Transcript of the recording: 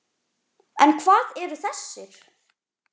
En hvað eru þessir?